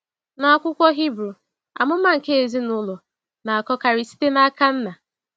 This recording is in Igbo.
N’akwụkwọ Hebrew, amụma nke ezinụlọ na-akọkarị site n’aka nna.